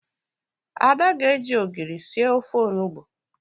Ada ga-eji ogiri sir ofe onugbo